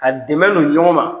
Ka dɛmɛ don ɲɔgɔn ma.